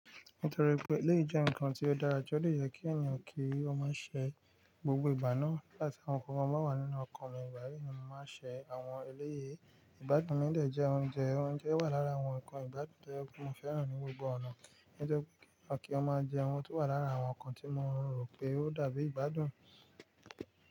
Nítorí pé eléyi jẹ́ ǹkan tó dára ju ó de yẹ kí ẹ̀yàn kí ó má ṣe gbogbo ìgbà náà. Nigba ti àwọn nǹkan ba wà nínú ọkan mi, igbayìí ni mo máa ṣe àwọn eléyii. Ìgbádùn mi jẹ́ oúnjẹ, oúnjẹ wà lára àwọn ǹkan ìgbádùn to je pe mo fẹ́ràn ní gbogbo ọ̀nà. Ó jẹ́ kí ọ máa jẹ ohun tó wà lára àwọn ǹkan tí mo rò pé ó dàbí ìgbádùn.